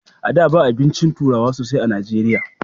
A da ba abincin turawa sosai a najeriya